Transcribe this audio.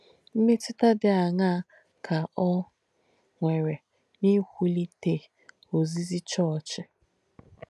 M̀mètụ̀tà dí àṅaa kà ọ̀ nwèrè n’ìwùlìtē òzízì chọ̀ọ̀chī?